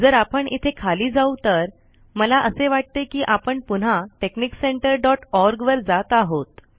जर आपण इथे खाली जाऊ तर मला असे वाटते कि आपण पुन्हा texniccenterओआरजी वर जात आहोत